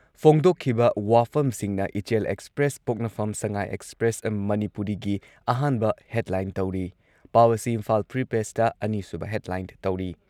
ꯐꯣꯡꯗꯣꯛꯈꯤꯕ ꯋꯥꯐꯝꯁꯤꯡꯅ ꯏꯆꯦꯜ ꯑꯦꯛꯁꯄ꯭ꯔꯦꯁ, ꯄꯣꯛꯅꯐꯝ, ꯁꯉꯥꯏ ꯑꯦꯛꯁꯄ꯭ꯔꯦꯁ ꯃꯅꯤꯄꯨꯔꯤꯒꯤ ꯑꯍꯥꯟꯕ ꯍꯦꯗꯂꯥꯏꯟ ꯇꯧꯔꯤ꯫ ꯄꯥꯎ ꯑꯁꯤ ꯏꯝꯐꯥꯜ ꯐ꯭ꯔꯤ ꯄ꯭ꯔꯦꯁꯇ ꯑꯅꯤꯁꯨꯕ ꯍꯦꯗꯂꯥꯏꯟ ꯇꯧꯔꯤ꯫